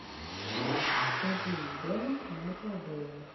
один дома майкла бэя